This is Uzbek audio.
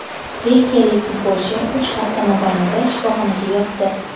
Belgiyalik futbolchi uch hafta mobaynida shifoxonada yotdi.